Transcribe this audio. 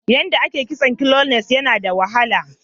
Yanda a ye yin kitson " knotless" Yana da wahala.